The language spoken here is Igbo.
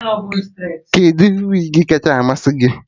Kedụ wigi kacha masị gị?